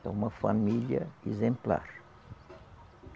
Então, uma família exemplar.